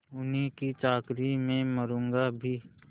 उन्हीं की चाकरी में मरुँगा भी